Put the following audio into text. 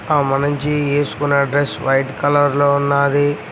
ఆ మనిషి వేసుకున్న డ్రెస్ వైట్ కలర్ లో ఉన్నాది.